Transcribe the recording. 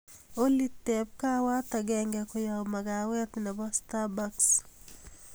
olly teeb kawaat agenge koyob magawet nebo starbucks